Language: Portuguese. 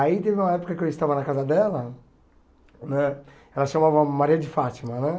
Aí teve uma época que eu estava na casa dela né, ela se chamava Maria de Fátima né.